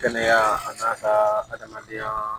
Kɛnɛya a n'a ka adamadenyaa